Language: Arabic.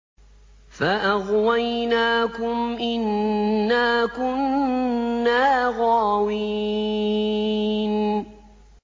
فَأَغْوَيْنَاكُمْ إِنَّا كُنَّا غَاوِينَ